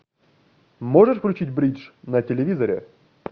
можешь включить бридж на телевизоре